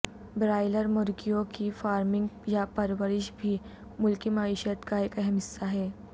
broiler مرغیوں کی farming یا پرورش بھی ملکی معیشت کا ایک اہم حصہ ہے